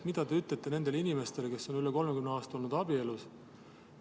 Mida te ütlete nendele inimestele, kes on üle 30 aasta olnud abielus?